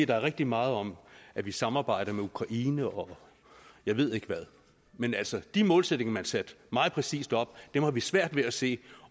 der er rigtig meget om at vi samarbejder med ukraine og jeg ved ikke hvad men altså de målsætninger man satte meget præcist op har vi svært ved at se